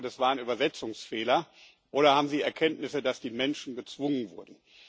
Ich hoffe, das war ein Übersetzungsfehler, oder haben Sie Erkenntnisse, dass die Menschen gezwungen wurden?